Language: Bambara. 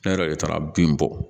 Ne yɛrɛ de taara bin bɔ